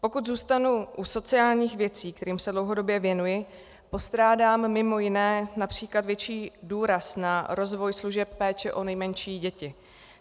Pokud zůstanu u sociálních věcí, kterým se dlouhodobě věnuji, postrádám mimo jiné například větší důraz na rozvoj služeb péče o nejmenší děti.